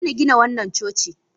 A daina gina wannan coci!